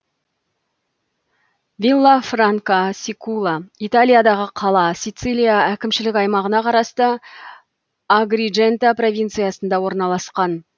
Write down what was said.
виллафранка сикула италиядағы қала сацилия әкімшілік аймағына қарасты агридженто провинциясында орналасқан